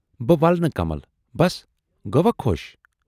بہٕ وَلہٕ نہٕ کمل، بَس گٔیہِ وا خۅش۔